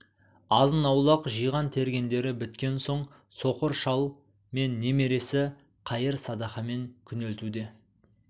азын-аулақ жиған-тергендері біткен соң соқыр шал мен немересі қайыр-садақамен күнелтуде